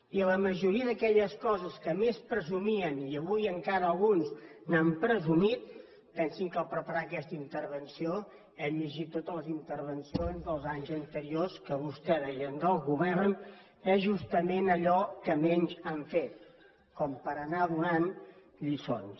i la majoria d’aquelles coses de què més presumien i avui encara alguns n’han presumit pensin que al preparar aquesta intervenció hem llegit totes les intervencions dels anys anteriors que vostès deien del govern és justament allò que menys han fet com per anar donant lliçons